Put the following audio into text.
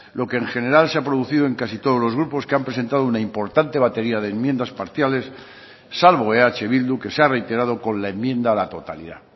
lo que en general se ha producido en casi todos los grupos que han presentado una importante batería de enmiendas parciales salvo eh bildu que se ha reiterado con la enmienda a la totalidad